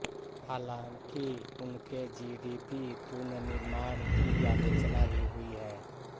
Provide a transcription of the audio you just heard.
हालाँकि उनके जीडीपी पुनर्निर्माण की आलोचना भी हुई है